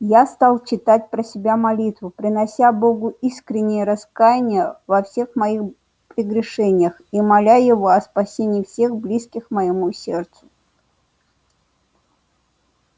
я стал читать про себя молитву принося богу искреннее раскаяние во всех моих прегрешениях и моля его о спасении всех близких моему сердцу